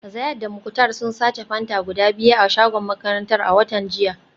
Zayad da Muktar sun sace Fanta guda biyu a shagon makarantar a watan jiya